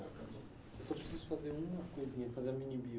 Eu só preciso fazer uma coisinha, fazer a mini bio.